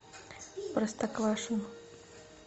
простоквашино